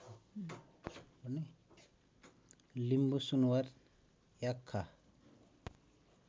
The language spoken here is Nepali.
लिम्बु सुनुवार याख्खा